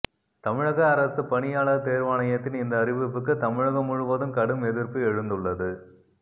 தமிழக அரசுப் பணியாளர் தேர்வாணையத்தின் இந்த அறிவிப்புக்கு தமிழகம் முழுவதும் கடும் எதிர்ப்பு எழுந்துள்ளது